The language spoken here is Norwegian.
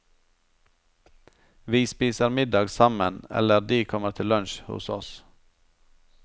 Vi spiser middag sammen, eller de kommer til lunch hos oss.